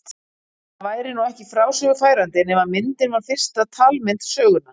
Það væri nú ekki frásögu færandi nema myndin var fyrsta talmynd sögunnar.